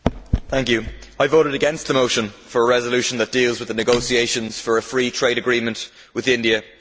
Mr President, I voted against the motion for a resolution that deals with the negotiations for a free trade agreement with India.